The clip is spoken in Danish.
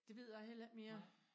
Det ved jeg heller ikke mere